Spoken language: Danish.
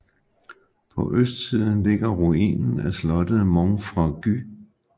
På østsiden ligger ruinen af slottet Monfragüe